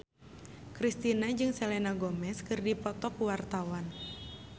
Kristina jeung Selena Gomez keur dipoto ku wartawan